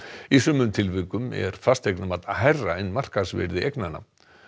í sumum tilvikum er fasteignamat hærra en markaðsvirði eignanna